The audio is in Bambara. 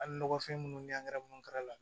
Hali nɔgɔfin minnu la